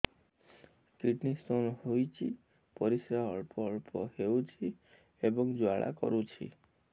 kidney stone ହୋଇଛି ପରିସ୍ରା ଅଳ୍ପ ଅଳ୍ପ ହେଉଛି ଏବଂ ଜ୍ୱାଳା କରୁଛି